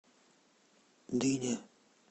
дыня